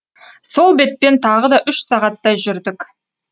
сол бетпен тағы да үш сағаттай жүрдік